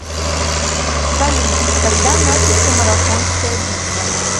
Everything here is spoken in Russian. салют когда начался марафонская битва